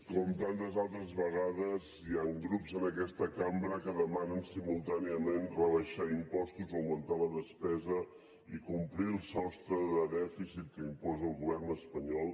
com tantes altres vegades hi han grups en aquesta cambra que demanen simultàniament rebaixar impostos augmentar la despesa i complir el sostre de dèficit que imposa el govern espanyol